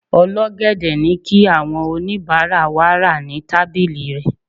ol'ogede ni ki awọn onibara wa ra ni tábìlì rẹ